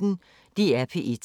DR P1